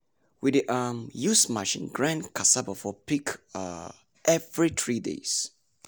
we dey um use machine grind cassava for pig um every three days.